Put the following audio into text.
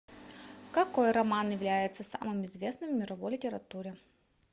какой роман является самым известным в мировой литературе